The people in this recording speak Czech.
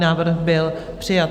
Návrh byl přijat.